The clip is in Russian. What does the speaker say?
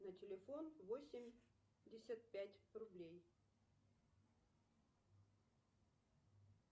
на телефон восемьдесят пять рублей